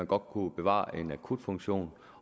godt kunne bevare en akutfunktion